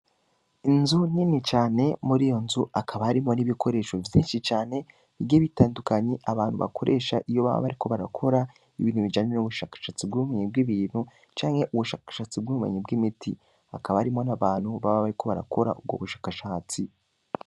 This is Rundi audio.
Inzu nini cane, muri iyo nzu, hakaba harimwo n'ibikoresho vyinshi cane, bigiye bitandukanye, abantu bakoresha iyo baba bariko barakora, ibintu bijanye n'ubushakashatsi bw'ubumenyi bw'ibintu, canke ubushakashatsi bw'ubumenyi bw'imiti; hakaba harimwo n'abantu baba bariko barakora ubwo bushakashatsi.